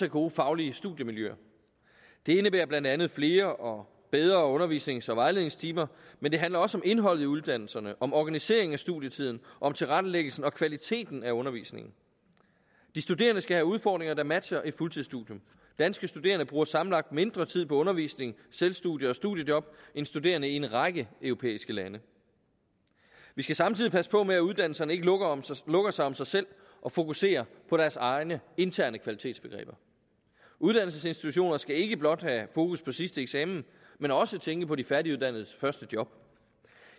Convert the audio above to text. gode faglige studiemiljøer det indebærer blandt andet flere og bedre undervisnings og vejledningstimer men det handler også om indholdet i uddannelserne om organiseringen af studietiden om tilrettelæggelsen og kvaliteten af undervisningen de studerende skal have udfordringer der matcher et fuldtidsstudium danske studerende bruger sammenlagt mindre tid på undervisning selvstudie og studiejob end studerende i en række europæiske lande vi skal samtidig passe på med at uddannelserne ikke lukker sig om sig selv og fokuserer på deres egne interne kvalitetsbegreber uddannelsesinstitutioner skal ikke blot have fokus på sidste eksamen men også tænke på de færdiguddannedes første job